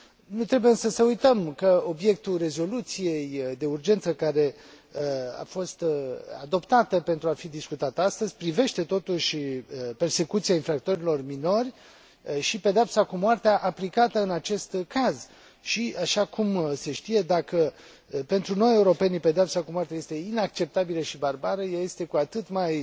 Nu trebuie, însă, să uităm că obiectul rezoluției de urgență care a fost adoptată pentru a fi discutată astăzi privește, totuși, persecuția infractorilor minori și pedeapsa cu moartea aplicată în acest caz și, așa cum se știe, dacă pentru noi europenii pedeapsa cu moartea este inacceptabilă și barbară, ea este cu atât mai